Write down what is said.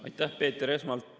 Aitäh, Peeter!